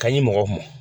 Ka ɲi mɔgɔ mɔn